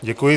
Děkuji.